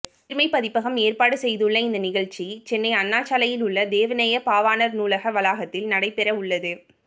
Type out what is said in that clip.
உயிர்மை பதிப்பகம் ஏற்பாடு செய்துள்ள இந்த நிகழ்ச்சி சென்னை அண்ணாசாலையில் உள்ள தேவநேயப் பாவாணர் நூலக வளாகத்தில் நடைபெற உள்ளது